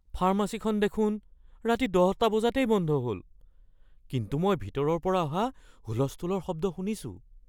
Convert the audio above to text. ফাৰ্মাচীখন দেখোন ৰাতি ১০টা বজাতেই বন্ধ হ'ল, কিন্তু মই ভিতৰৰ পৰা অহা হুলস্থূলৰ শব্দ শুনিছোঁ।